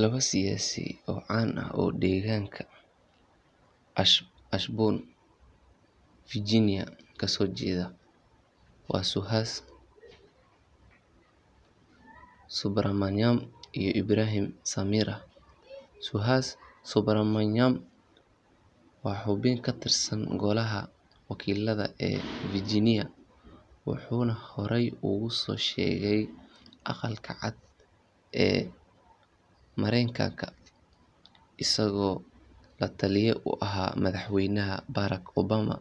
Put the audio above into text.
Laba siyaasi oo caan ah oo deegaanka Ashburn, Virginia ka soo jeeda waa Suhas Subramanyam iyo Ibraheem Samirah. Suhas Subramanyam waa xubin ka tirsan Golaha Wakiilada ee Virginia, wuxuuna horey uga soo shaqeeyay Aqalka Cad ee Mareykanka isagoo la-taliye u ahaa madaxweynaha Barack Obama